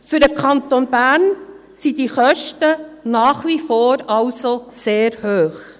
Für den Kanton Bern sind diese Kosten also nach wie vor sehr hoch.